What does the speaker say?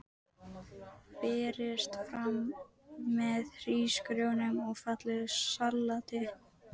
Berist fram með hrísgrjónum og fallegu salati.